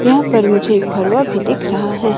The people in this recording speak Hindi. यहां पर मुझे एक फरवा भी दिख रहा है।